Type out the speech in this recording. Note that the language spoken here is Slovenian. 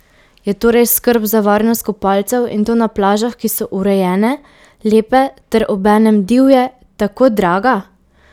Je torej skrb za varnost kopalcev, in to na plažah, ki so urejene, lepe ter obenem divje, tako draga?